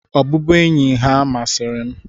Ọbụbụenyi ha masịrị m.